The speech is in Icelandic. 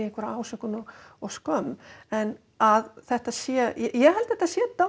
ásakanir og skömm en að þetta sé ég held að þetta sé